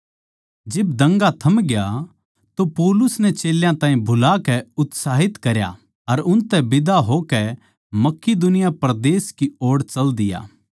जिब दंगा थमग्या तो पौलुस नै चेल्यां ताहीं बुलाकै उत्साहित करया अर उनतै बिदा होकै मकिदुनिया परदेस की ओड़ चाल दिया